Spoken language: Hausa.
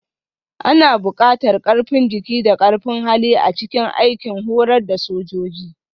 Ana buƙatar ƙarfin jiki da ƙarfin hali a cikin aikin horar da sojoji